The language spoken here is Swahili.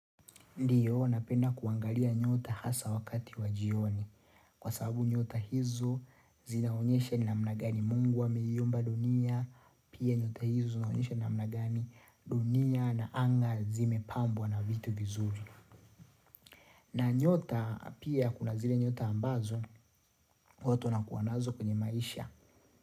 Ndiyo, napenda kuangalia nyota hasa wakati wa jioni kwa sababu nyota hizo zinaonyesha namna gani mungu ameiumba dunia, pia nyota hizo zinaonyesha namna gani dunia na anga zimepambwa na vitu vizuri. Na nyota, pia kuna zile nyota ambazo, watu wanakuwa nazo kwenye maisha.